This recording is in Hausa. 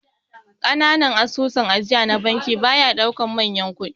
Kananan asusun ajiya na banki baya daukan manyan kudi.